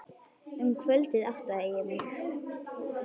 Um kvöldið áttaði ég mig.